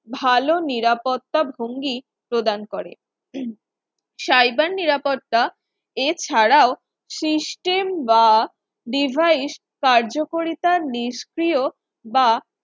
ভালো নিরাপত্তা ভঙ্গি প্রদান করে cyber নিরাপত্তা এছাড়াও system বা device কার্যকরিতা নিষ্ক্রিয় বা